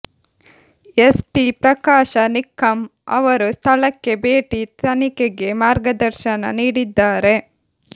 SP Prakash Nikkam ಅವರು ಸ್ಥಳಕ್ಕೆ ಭೇಟಿ ತನಿಖೆಗೆ ಮಾರ್ಗದರ್ಶನ ನೀಡಿದ್ದಾರೆ